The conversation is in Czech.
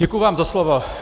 Děkuji vám za slovo.